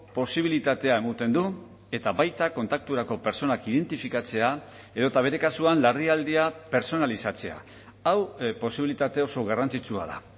posibilitatea ematen du eta baita kontakturako pertsonak identifikatzea edota bere kasuan larrialdia pertsonalizatzea hau posibilitate oso garrantzitsua da